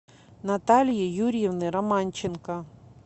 натальи юрьевны романченко